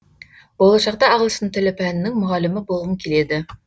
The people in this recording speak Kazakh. болашақта ағылшын тілі пәнінің мұғалімі болғым келеді